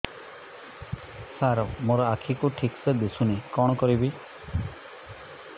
ସାର ମୋର ଆଖି କୁ ଠିକସେ ଦିଶୁନି କଣ କରିବି